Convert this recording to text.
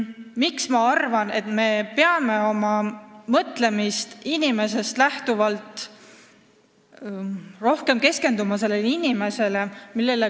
Miks ma arvan, et me peame oma mõttetöös rohkem keskenduma inimesele?